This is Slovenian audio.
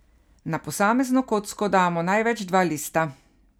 Na posamezno kocko damo največ dva lista.